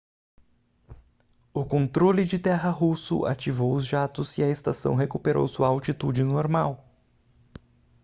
o controle de terra russo ativou os jatos e a estação recuperou sua altitude normal